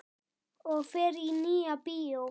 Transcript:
Og fer í Nýja bíó!